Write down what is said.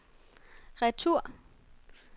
retur